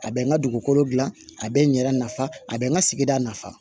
A bɛ n ka dugukolo dilan a bɛ n yɛrɛ nafa a bɛ n ka sigida nafa